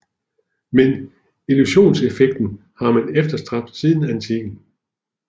Men illusionseffekten har man efterstræbt siden antikken